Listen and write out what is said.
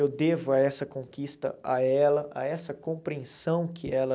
Eu devo a essa conquista a ela, a essa compreensão que ela...